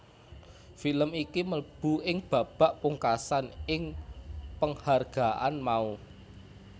Film iki mlebu ing babak pungkasan ing penghargaan mau